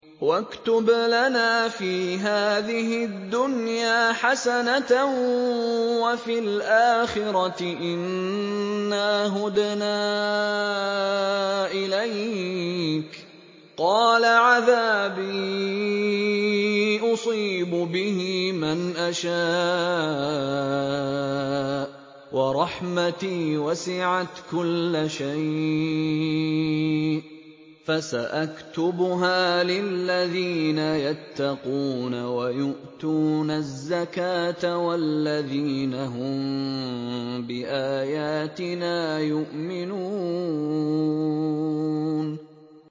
۞ وَاكْتُبْ لَنَا فِي هَٰذِهِ الدُّنْيَا حَسَنَةً وَفِي الْآخِرَةِ إِنَّا هُدْنَا إِلَيْكَ ۚ قَالَ عَذَابِي أُصِيبُ بِهِ مَنْ أَشَاءُ ۖ وَرَحْمَتِي وَسِعَتْ كُلَّ شَيْءٍ ۚ فَسَأَكْتُبُهَا لِلَّذِينَ يَتَّقُونَ وَيُؤْتُونَ الزَّكَاةَ وَالَّذِينَ هُم بِآيَاتِنَا يُؤْمِنُونَ